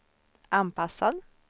anpassad